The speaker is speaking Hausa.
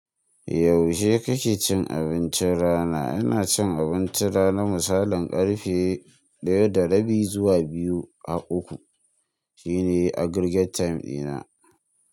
Yaushe kake cin abincin rana? Ina cin abinci rana na misalin karfe ɗaya da rabi zuwa biyu haƙƙu. Shi ne aggregate time ɗina.